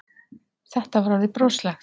Þetta var orðið broslegt.